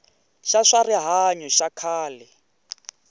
xa swa rihanyo xa khale